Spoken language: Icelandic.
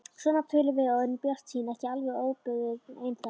Svona tölum við og erum bjartsýn, ekki alveg óbuguð ennþá.